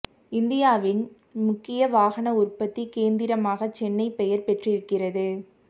இந்தியாவின் முக்கிய வாகன உற்பத்தி கேந்திரமாக சென்னை பெயர் பெற்றிருக்கிறது